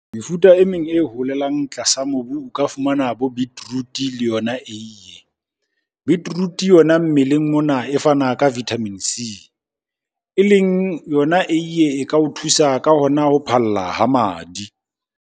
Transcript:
Mefuta e meng e holelang tlasa mobu o ka fumana bo beetroot-e le yona eiye. Beetroot-e yona mmeleng mona e fana ka Vitamin C. E leng yona eiye e ka o thusa ka hona ho phalla ha madi.